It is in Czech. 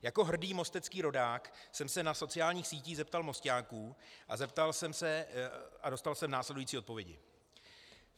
Jako hrdý mostecký rodák jsem se na sociálních sítích zeptal Mosťáků a dostal jsem následující odpovědi.